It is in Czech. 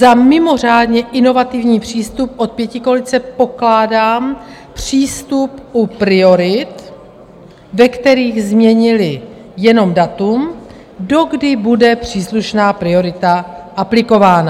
Za mimořádně inovativní přístup od pětikoalice pokládám přístup u priorit, ve kterých změnili jenom datum, dokdy bude příslušná priorita aplikována.